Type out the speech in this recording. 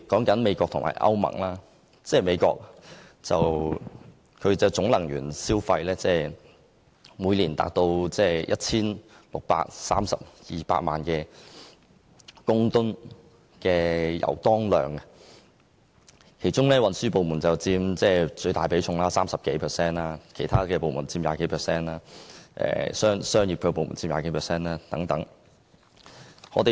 以美國為例，該國每年的總能源消費為16億 3,200 萬公噸油當量，其中運輸部門佔最大比重，超過 30%， 其次為產業部門及住商部門，各佔逾 20%。